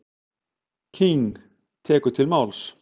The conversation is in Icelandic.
King tekur til máls.